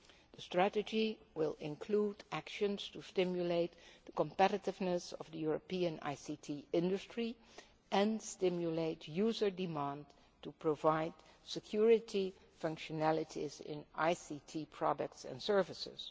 The strategy will include actions to stimulate the competitiveness of the European ICT industry and stimulate user demand to provide security functionalities in ICT products and services.